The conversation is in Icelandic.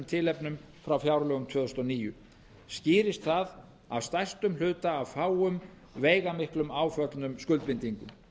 tilefnum frá fjárlögum tvö þúsund og níu skýrist það af stærstum hluta af fáum veigamiklum áföllnum skuldbindingum